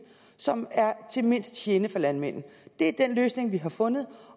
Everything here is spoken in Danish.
som er til mindst gene for landmanden det er den løsning vi har fundet